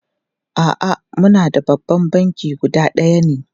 A'a, muna da babban banki guda ɗaya ne.